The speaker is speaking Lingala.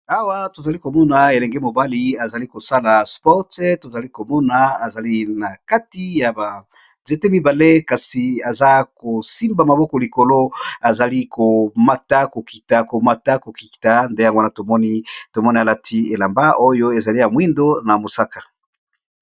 Awa tozali komona elenge mobali azali kosala sport tozali komona azali na kati ya ba nzete mibale kasi aza kosimba maboko likolo azali komata kokita komata kokita nde yangowana tomoni tomoni alati elamba oyo ezali ya mwindo na mosaka.